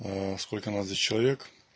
сколько надо человек